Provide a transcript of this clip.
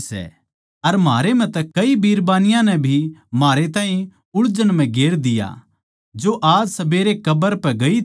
अर म्हारै म्ह तै कई बिरबान्नी नै भी म्हारै ताहीं उळझन म्ह गेर दिया जो आज सबेरै कब्र पै ग्यी थी